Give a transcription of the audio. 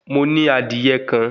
Mo ní adìyẹ kan